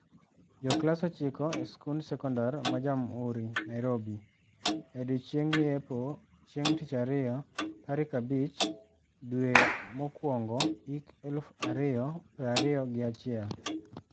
Joklas ochiko e skund sekondar ma Jamuhuri, Narirobi. E Odiochieng' yepo chieng' tichario tarik abich dwe mar mokwongo hik eluf ario prario gi achiel.